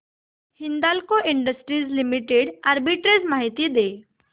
Hindalco industries limited arbitrage माहिती दे